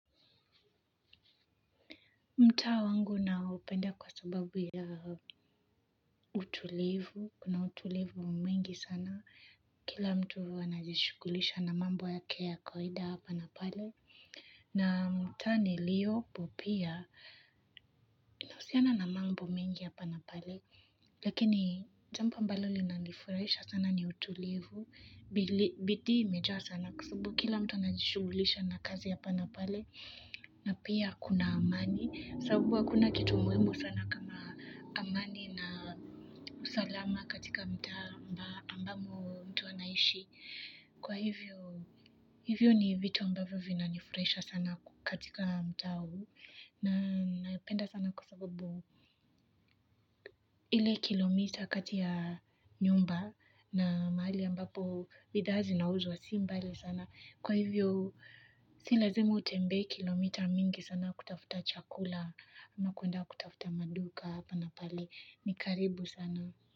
Mtaa wangu naupenda kwa sababu ya utulivu. Kuna utulivu mwingi sana. Kila mtu wanajishughulisha na mambo yake ya kawaida ya hapa na pale. Na mtaa niliyopo pia, unahusiana na mambo mengi hapa na pale lakini jampo ambalo linanifurahisha sana ni utulivu. Bidii imejaa sana kwa sabu kila mtu anajishughulisha na kazi hapa na pale. Na pia kuna amani, sababu hakuna kitu muhimu sana kama amani na usalama katika mtaa ambamo mtu anaishi. Kwa hivyo, hivyo ni vitu ambavu vina nifurahisha sana katika mtaa huu. Na napenda sana kwa sababu ile kilomita kati ya nyumba na mahali ambapo bidhaa zinauzwa si mbali sana. Kwa hivyo si lazimu utembee kilomita mingi sana kutafuta chakula ama kwenda kutafuta maduka hapa na pale ni karibu sana.